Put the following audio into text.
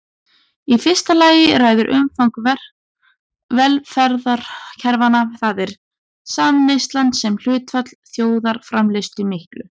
Í fyrsta lagi ræður umfang velferðarkerfanna, það er samneyslan sem hlutfall þjóðarframleiðslu miklu.